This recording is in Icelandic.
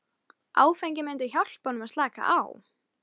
Áfengið myndi hjálpa honum að slaka á.